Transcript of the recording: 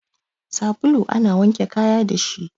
Sabulu ana wanke kaya dashi